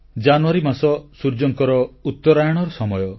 ଜାନୁଆରୀ ମାସ ସୂର୍ଯ୍ୟଙ୍କର ଉତ୍ତରାୟଣର ସମୟ